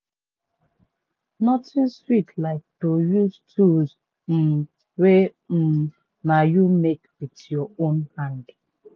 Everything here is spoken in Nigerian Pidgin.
nothing sweat like to use tools um wey um na you make wit yur own hand